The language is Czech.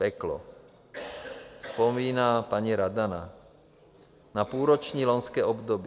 Peklo, vzpomíná paní Radana na půlroční loňské období.